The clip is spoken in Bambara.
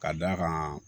Ka d'a kan